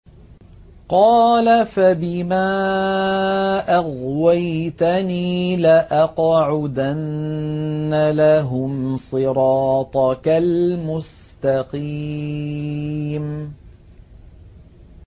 قَالَ فَبِمَا أَغْوَيْتَنِي لَأَقْعُدَنَّ لَهُمْ صِرَاطَكَ الْمُسْتَقِيمَ